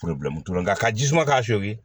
nka ka ji suma k'a segi